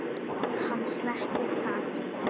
Hann sleppir takinu.